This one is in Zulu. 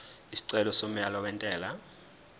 isicelo somyalo wentela